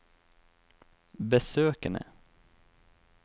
besøkene